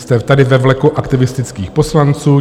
Jste tady ve vleku aktivistických poslanců.